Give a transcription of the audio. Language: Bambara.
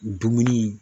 Dumuni